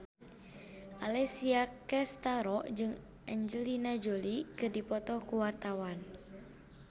Alessia Cestaro jeung Angelina Jolie keur dipoto ku wartawan